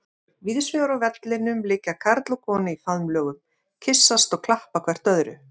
Víðsvegar á vellinum liggja karl og kona í faðmlögum, kyssast og klappa hvert öðru.